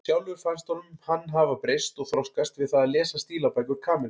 Sjálfum fannst honum hann hafa breyst og þroskast við það að lesa stílabækur Kamillu.